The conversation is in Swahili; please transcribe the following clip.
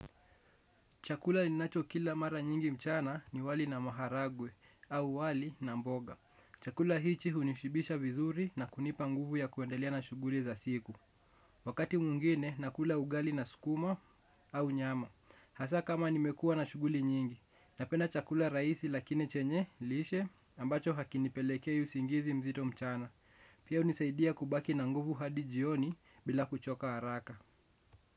Chakula ninacho kila mara nyingi mchana ni wali na maharagwe, au wali na mboga. Chakula hichi hunishibisha vizuri na kunipa nguvu ya kuendelea na shuguli za siku. Wakati mwingine, nakula ugali na sukuma au nyama. Hasa kama nimekua na shuguli nyingi, napenda chakula raisi lakini chenye, lishe, ambacho hakinipelekei usingizi mzito mchana. Pia unisaidia kubaki na nguvu hadi jioni bila kuchoka haraka.